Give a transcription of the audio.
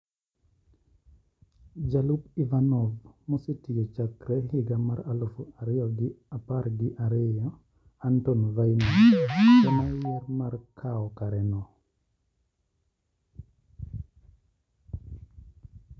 Jalup Ivanov mosetiyo chakre higa mar aluf ariyo gi apar gi ariyo Anton Vaino ema oyier mar kawo kareno.